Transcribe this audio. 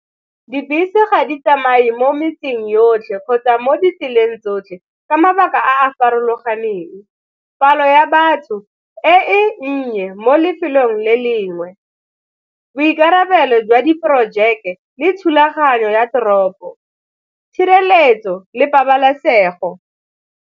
Dibese ga di tsamaye mo metseng yotlhe kgotsa mo ditseleng tsotlhe ka mabaka a a farologaneng, palo ya batho e nnye mo lefelong le lengwe, boikarabelo jwa diporojeke le thulaganyo ya toropo, tshireletso le pabalesego.